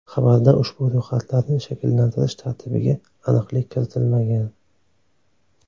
Xabarda ushbu ro‘yxatlarni shakllantirish tartibiga aniqlik kiritilmagan.